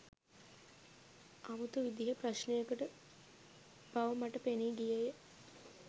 අමුතු විදිහේ ප්‍රශ්නයකට බව මට පෙනී ගියේය